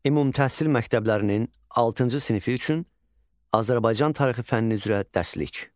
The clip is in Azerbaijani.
Ümumtəhsil məktəblərinin altıncı sinifi üçün Azərbaycan tarixi fənni üzrə dərslik.